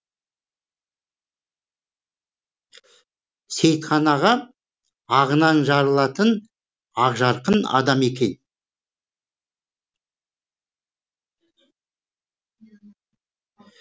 сейітхан аға ағынан жарылатын ақжарқын адам екен